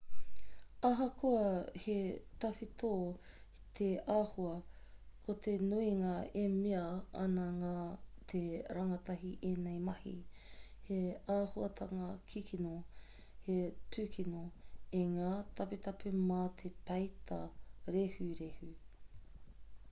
ahakoa he tawhito te āhua ko te nuinga e mea ana nā te rangatahi ēnei mahi he āhuatanga kikino he tūkino i ngā taputapu mā te peita rehurehu